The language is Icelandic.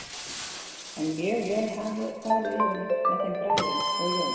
En mjög vel hafði farið á með þeim bræðrum og Jóni.